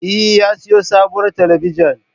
Eh, ya siyo sabuwar talabijin